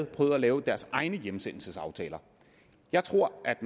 prøvet at lave deres egne hjemsendelsesaftaler jeg tror at